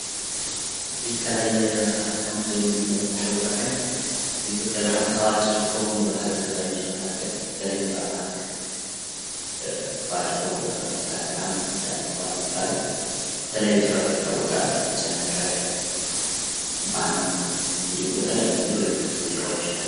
ይህ ከላይ ከምስሉ ላይ የምንመለከተው ዘፋኝ በኢትዮጵያ በጣም ታዋቂ ከሆኑ ባህላዊ ዘፋኞች ከሆኑ መካከል በተለይም በአማራ ክልል ታዋቂ ከሆኑ ዘፋኞች መካክል አንዱ ነው። ዳኘ ዋለ ይባላለ። በተለያዩ ስራዎቹም ይታወቃል። የጨነቀለት እንዲሁም በተለያዩ ሙዚቃዎቹ ይታወቃል።